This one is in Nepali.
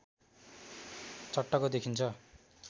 चट्टको देखिन्छ